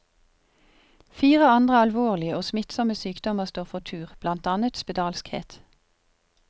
Fire andre alvorlige og smittsomme sykdommer står for tur, blant annet spedalskhet.